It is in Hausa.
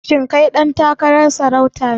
Shin kai ɗan takarar sarauta ne?